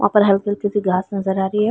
यहाँ पर हल्की हल्की सी घास नज़र आ रही है।